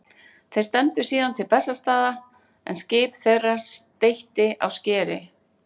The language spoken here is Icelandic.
Þeir stefndu síðan til Bessastaða en skip þeirra steytti á skeri.